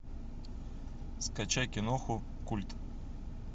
скачай киноху культ